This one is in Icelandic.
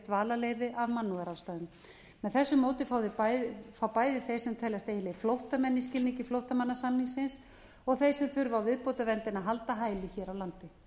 dvalarleyfi af mannúðarástæðum með þessu móti fá bæði þeir sem teljast eiginlegir flóttamenn í skilningi flóttamannasamningsins og þeir sem þurfa á viðbótarverndinni að halda hæli hér á landi